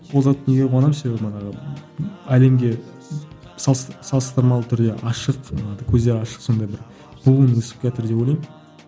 ол зат неге қуанамын себебі манағы әлемге салыстырмалы түрде ашық көздері ашық сондай бір буын өсіп келатыр деп ойлаймын